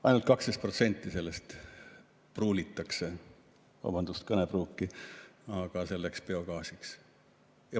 Ainult 12% sellest pruulitakse – vabandust kõnepruugi eest – biogaasiks.